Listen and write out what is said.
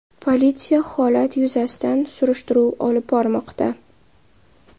Politsiya holat yuzasidan surishtiruv olib bormoqda.